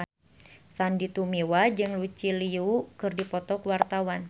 Sandy Tumiwa jeung Lucy Liu keur dipoto ku wartawan